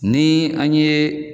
Ni an ye